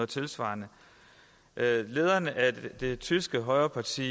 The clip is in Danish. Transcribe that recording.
tilsvarende lederen af det tyske højreparti